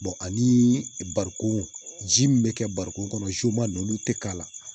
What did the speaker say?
ani barikon ji min bɛ kɛ barikon kɔnɔ joma ninnu olu tɛ k'a la